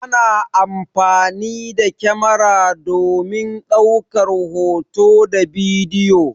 Ana amfani da kyamara domin ɗaukar hoto da bidiyo.